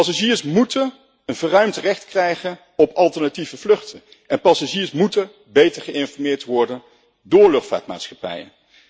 Passagiers moeten een verruimd recht krijgen op alternatieve vluchten en passagiers moeten beter geïnformeerd worden door luchtvaartmaatschappijen.